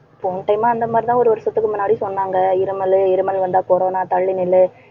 போன time உ அந்த மாதிரிதான் ஒரு வருஷத்துக்கு முன்னாடி சொன்னாங்க. இருமலு இருமல் வந்தா corona தள்ளி நில்லு.